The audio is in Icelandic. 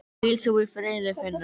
Hvíl þú í friði Finnur.